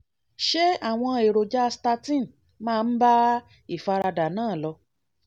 ṣé àwọn èròjà statin máa ń bá ìfaradà náà lò?